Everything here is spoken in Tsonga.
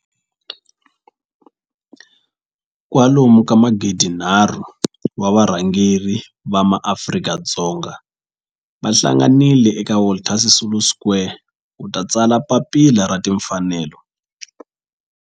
Kwalomu ka magidi nharhu, wa varhangeri va maAfrika-Dzonga va hlanganile eka Walter Sisulu Square ku ta tsala Papila ra Tinfanelo.